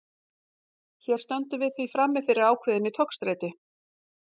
Hér stöndum við því frammi fyrir ákveðinni togstreitu.